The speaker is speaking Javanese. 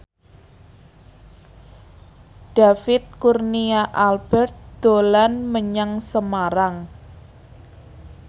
David Kurnia Albert dolan menyang Semarang